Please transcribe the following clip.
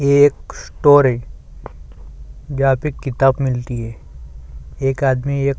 ये एक स्टोर है जहाँं पे किताब मिलती है एक आदमी एक--